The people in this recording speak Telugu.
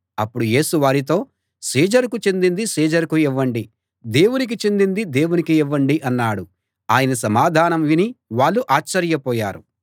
అప్పుడు యేసు వారితో సీజరుకు చెందింది సీజరుకు ఇవ్వండి దేవునికి చెందింది దేవునికి ఇవ్వండి అన్నాడు ఆయన సమాధానం విని వాళ్ళు ఆశ్చర్యపోయారు